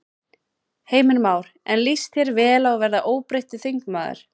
Heimir Már: En líst þér vel á að verða óbreyttur þingmaður?